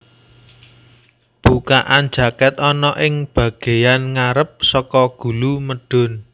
Bukaan jakèt ana ing bagéyan ngarep saka gulu medhun